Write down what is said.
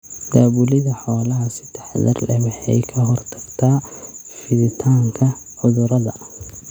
Daabulidda xoolaha si taxadar leh waxay ka hortagtaa fiditaanka cudurrada.